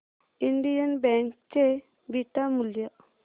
Indian bank चे beta मूल्य